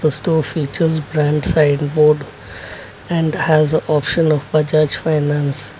the store sign board and has a option of bajaj finance.